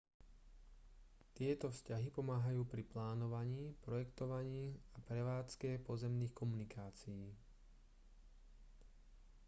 tieto vzťahy pomáhajú pri plánovaní projektovaní a prevádzke pozemných komunikácií